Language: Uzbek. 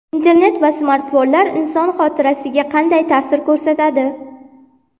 Internet va smartfonlar inson xotirasiga qanday ta’sir ko‘rsatadi?.